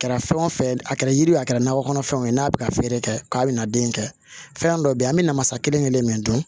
Kɛra fɛn wo fɛn ye a kɛra yiri ye a kɛra nakɔ kɔnɔfɛnw ye n'a bɛ ka feere kɛ k'a bɛna den in kɛ fɛn dɔ bɛ yen an bɛ namasa kelen-kelen min dɔn